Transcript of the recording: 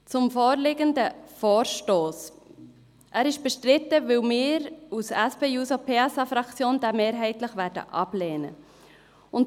Zum vorliegenden Vorstoss: Er ist bestritten, weil wir als SP-JUSO-PSA-Fraktion ihn mehrheitlich ablehnen werden.